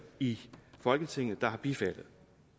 i folketinget der har bifaldet